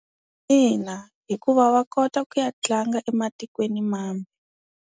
Ina, hikuva va kota ku ya tlanga ematikweni mambe.